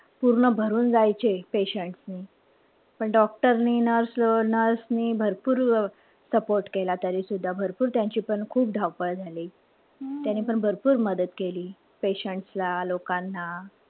पूर्ण भरून जायचे patients नि. पण doctor नि nurse नि भरपूर support केला तरी. भरपूर त्यांची पण खूप धावपळ झाली. त्यांनी पण भरपूर मदत केली patients ला, लोकांना.